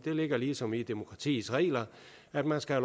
ligger ligesom i demokratiets regler at man skal